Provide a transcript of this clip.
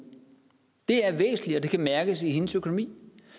det er væsentligt og det kan mærkes i hendes økonomi